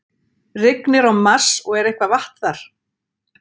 Rignir á Mars og er eitthvað vatn þar?